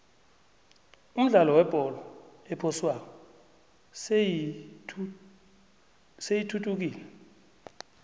umdlalo webholo ephoswako seyithuthukile